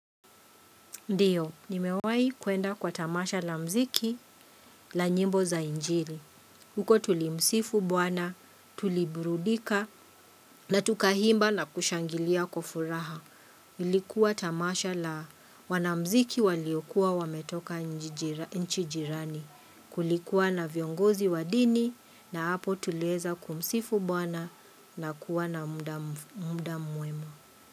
Ndio, nimewai kuenda kwa tamasha la mziki la nyimbo za injili. Huko tulimsifu bwana, tuliburudika na tukaimba na kushangilia kwa furaha. Ilikuwa tamasha la wanamziki waliokuwa wametoka nchi jirani. Kulikuwa na viongozi wa dini na hapo tuliweza kumsifu bwana na kuwa na muda mwema.